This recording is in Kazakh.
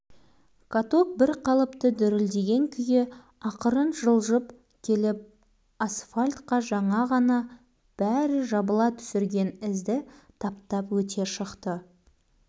үстінде еңіреп жылап талғат отыр басқаның бәрі ұмыт болды балалардың бәрі катокқа қарай лап қойды енді